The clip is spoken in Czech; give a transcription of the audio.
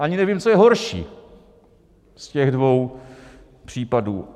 Ani nevím, co je horší z těch dvou případů.